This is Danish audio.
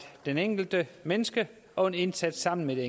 det enkelte menneske og en indsats sammen med det